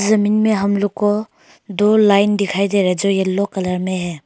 जमीन में हम लोग को दो लाइन दिखाई दे रहा है जो येलो कलर में है।